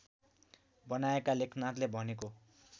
बनाएका लेखनाथले भनेको